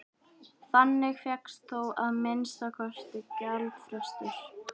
Þannig fékkst þó að minnsta kosti gjaldfrestur.